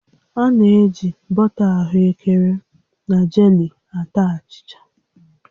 A na-eji bọta ahụekere na jelii ata achịcha